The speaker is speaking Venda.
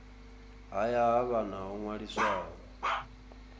haya ha vhana ho ṅwaliswaho